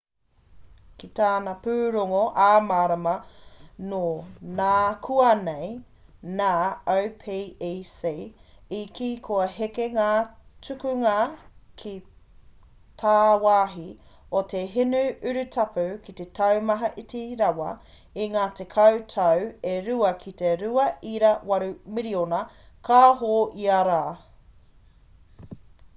ki tana pūrongo ā-marama nō nākuanei nā opec i kī kua heke ngā tukunga ki tāwāhi o te hinu urutapu ki te taumata iti rawa i ngā tekau tau e rua ki te 2.8 miriona kāho ia rā